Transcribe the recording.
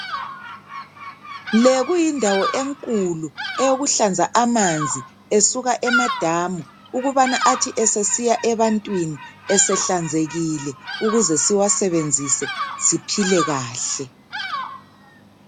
Le kuyindawo enkulu eyokuhlanza amanzi esuka emadamu ukubana athi esesiya ebantwini esehlanzekile ukuze siwasebenzise siphile kahle .